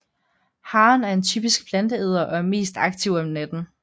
Haren er en typisk planteæder og er mest aktiv om natten